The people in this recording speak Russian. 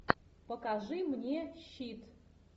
покажи мне щит